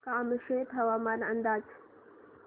कामशेत हवामान अंदाज